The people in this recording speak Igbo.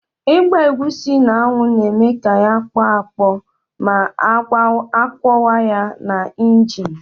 Ịgba egusi n'anwụ na-eme ya ya akpọ akpọ ma akwọwa ya na injin.